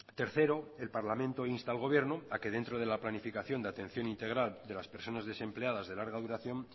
tercero el parlamento insta al gobierno a que dentro de la planificación de atención integral de las personas desempleadas de larga duración